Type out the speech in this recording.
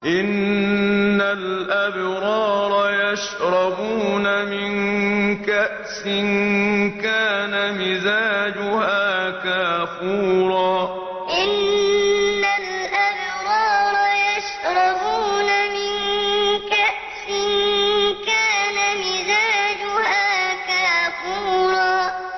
إِنَّ الْأَبْرَارَ يَشْرَبُونَ مِن كَأْسٍ كَانَ مِزَاجُهَا كَافُورًا إِنَّ الْأَبْرَارَ يَشْرَبُونَ مِن كَأْسٍ كَانَ مِزَاجُهَا كَافُورًا